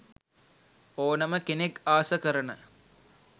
ඕනම කෙනෙක් ආස කරන